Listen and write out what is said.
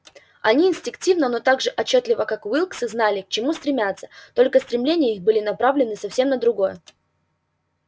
они инстинктивно но так же отчётливо как уилксы знали к чему стремятся только стремления их были направлены совсем на другое